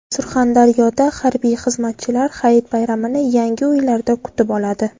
Surxondaryoda harbiy xizmatchilar hayit bayramini yangi uylarda kutib oladi.